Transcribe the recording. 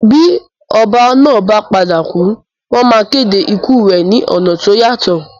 Bí oba náà ba padà kù, wón ma kéde ikù rẹ ni ọ̀nà to yàtọ̀